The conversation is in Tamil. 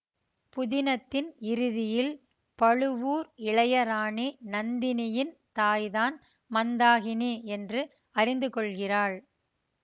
புதினத்தின் இறுதியில் பழுவூர் இளையராணி நந்தினியின் தாய்தான் மந்தாகினி என்று அறிந்து கொள்கிறாள்